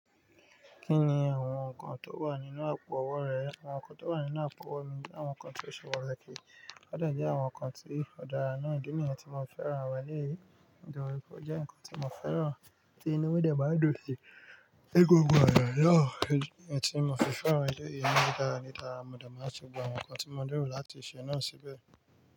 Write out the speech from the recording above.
Kí ni àwọn nǹkan tó wà nínú àpò ọwọ́ rẹ? Àwọn nǹkan tó wà nínú àpò ọwọ́ mi jẹ́ àwọn nǹkan tí ó ṣe pàtàkì, ó dẹ̀ jẹ́ àwọn nǹkan tí ó dára náà. Ìdí nìyẹn tí mo fẹ́ran àwọn ẹlẹ́yìí. Nitori pe o jẹ́ nǹkan tí mo fẹ́ran tí inú mi de máa dún si. Egungun àyà yá, èyí ni tí mo fi fẹ́ran ilé yìí. Nígbà mo máa ti gbà àwọn nǹkan tí mo lero láti ṣe náà síbẹ̀.